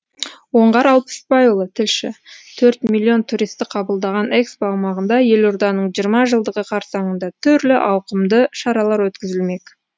оңғар алпысбайұлы тілші төрт миллион туристі қабылдаған экспо аумағында елорданың жиырма жылдығы қарсаңында түрлі ауқымды шаралар өткізілмек